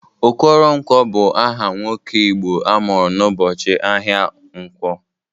Okoronkwo bụ aha nwoke Igbo amụrụ n'ụbọchị ahịa nkwọ.